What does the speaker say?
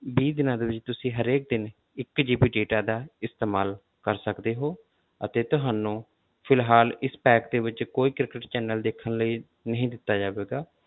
ਵੀਹ ਦਿਨਾਂ ਦੇ ਵਿੱਚ ਤੁਸੀਂ ਹਰੇਕ ਦਿਨ ਇੱਕ GB data ਦਾ ਇਸਤੇਮਾਲ ਕਰ ਸਕਦੇ ਹੋ ਅਤੇ ਤੁਹਾਨੂੰ ਫਿਲਹਾਲ ਇਸ pack ਦੇ ਵਿੱਚ ਕੋਈ ਕ੍ਰਿਕਟ channel ਦੇਖਣ ਲਈ ਨਹੀਂ ਦਿੱਤਾ ਜਾਵੇਗਾ।